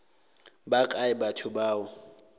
ba kae batho ba o